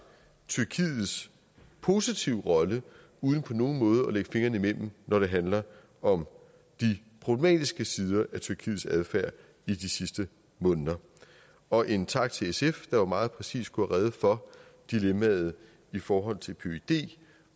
tyrkiets positive rolle uden på nogen måde at lægge fingrene imellem når det handler om de problematiske sider af tyrkiets adfærd i de sidste måneder og en tak til sf der jo meget præcist gjorde rede for dilemmaet i forhold til pyd